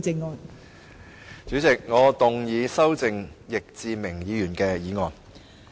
代理主席，我動議修正易志明議員的議案。